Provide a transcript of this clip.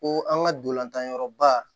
Ko an ka dolantanyɔrɔba